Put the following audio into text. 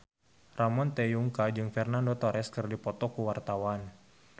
Ramon T. Yungka jeung Fernando Torres keur dipoto ku wartawan